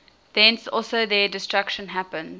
thence also their destruction happens